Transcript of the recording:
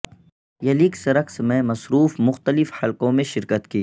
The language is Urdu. یلیکس رقص میں مصروف مختلف حلقوں میں شرکت کی